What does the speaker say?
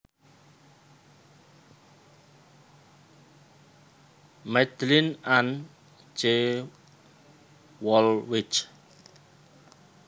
Madlyn Ann C Woolwich